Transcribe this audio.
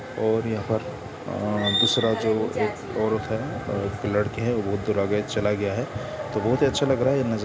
--और यहाँ पर अ दूसरा जो एक औरत है लड़की है वो दूरा गे चला गया है तो बहुत ही अच्छा लग रहा है न--